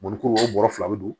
Mɔnikuru o bɔrɔ fila bɛ don